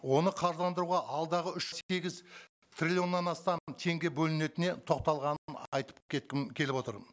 оны қаржыландыруға алдағы үш сегіз триллионнан астам теңге бөлінетіне тоқталғанын айтып кеткім келіп отыр